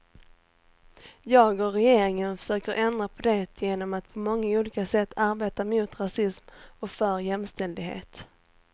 Jag och regeringen försöker ändra på det genom att på många olika sätt arbeta mot rasism och för jämställdhet.